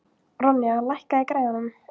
Þeir skjóta fiskana með boga og örvum.